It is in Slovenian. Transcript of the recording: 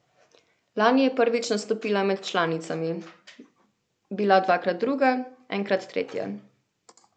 Lani je prvič nastopila med članicami, bila dvakrat druga, enkrat tretja.